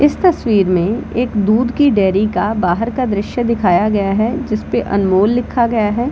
इस तस्वीर में एक दूध की डेयरी के बाहर का दृश्य दिखाया गया है जिसपे अनमोल लिखा गया है।